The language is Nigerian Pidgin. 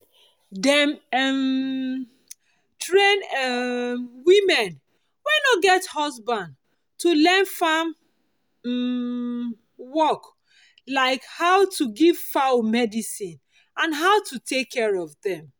i con dey make soap with moringa oil after i at ten d training on how to make things with plant and leaf